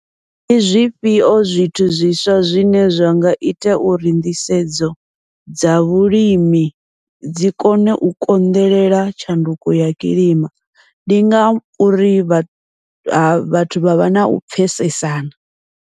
Ndi zwifhio zwithu zwiswa zwine zwa nga ita uri nḓisedzo dza vhulimi dzi kone u konḓelela tshanduko ya kilima, ndi ngauri vha vhathu vha vha nau pfhesesana.